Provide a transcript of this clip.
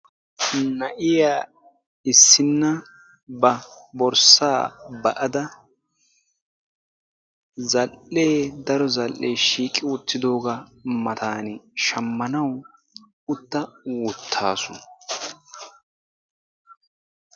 na'iya issinna ba borssa ba'ada zal'e daro zal'ee shiiqi uttidooga matan shamanawu utta uttaasu.